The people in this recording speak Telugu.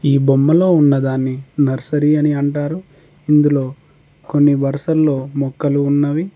ఈ బొమ్మలో ఉన్నదాన్ని నర్సరీ అని అంటారు ఇందులో కొన్ని వరుసల్లో మొక్కలు ఉన్నవి.